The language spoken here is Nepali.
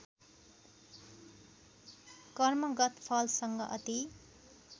कर्मगत फलसँग अति